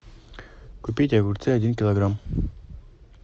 купить огурцы один килограмм